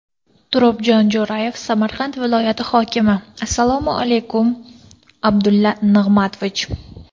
Turobjon Jo‘rayev, Samarqand viloyati hokimi: Assalomu alaykum, Abdulla Nig‘matovich!